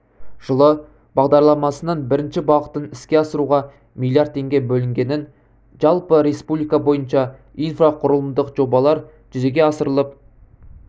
жылы бағдарламасының бірінші бағытын іске асыруға миллиард теңге бөлінгенін жалпы республика бойынша инфрақұрылымдық жобалар жүзеге асырылып